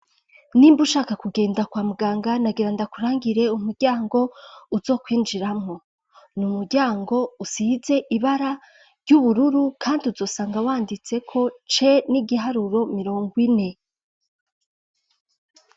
Nimba ushaka ku genda kwa muganga nagira ndakurangire umuryango uzokwinjiramwo n'umuryango usize ibara ry'ubururu kandi uzosanga wanditseko C n'igiharuro mirongo ine.